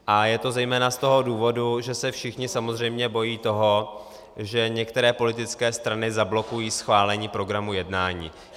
A je to zejména z toho důvodu, že se všichni samozřejmě bojí toho, že některé politické strany zablokují schválení programu jednání.